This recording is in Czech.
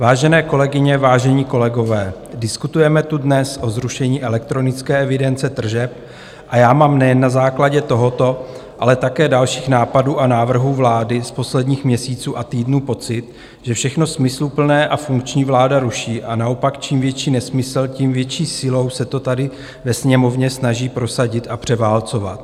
Vážené kolegyně, vážení kolegové, diskutujeme tu dnes o zrušení elektronické evidence tržeb a já mám nejen na základě tohoto, ale také dalších nápadů a návrhů vlády z posledních měsíců a týdnů pocit, že všechno smysluplné a funkční vláda ruší, a naopak čím větší nesmysl, tím větší silou se to tady ve Sněmovně snaží prosadit a převálcovat.